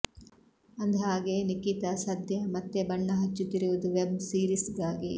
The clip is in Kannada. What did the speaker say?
ಅಂದ್ಹಾಗೆ ನಿಖಿತಾ ಸದ್ಯ ಮತ್ತೆ ಬಣ್ಣ ಹಚ್ಚುತ್ತಿರುವುದು ವೆಬ್ ಸೀರಿಸ್ ಗಾಗಿ